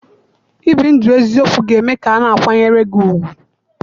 Ibi ndụ eziokwu ga-eme ka a na-akwanyere gị ùgwù.